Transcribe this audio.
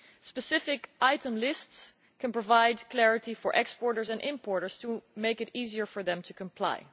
Specific item lists can provide clarity for exporters and importers to make it easier for them to comply.